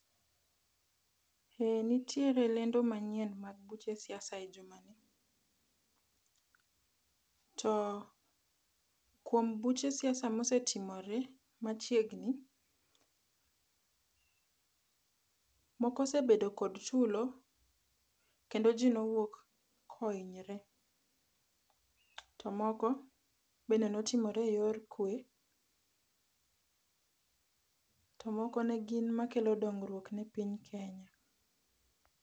Eeeh nitiere lendo manyien mag buche siasa e jumani .To kuom buche siasa mosetimore machiegni, moko osebedo kod tulo kendo jii nowuok kohinyore to moko bende notimore e yor kwee to moko negin makelo dongruok e piny Kenya